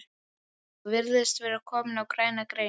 Þú virðist vera kominn á græna grein